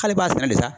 K'ale b'a sɛnɛ de sa